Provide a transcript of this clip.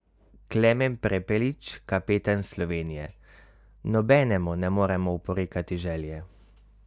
Klemen Prepelič, kapetan Slovenije: "Nobenemu ne moremo oporekati želje.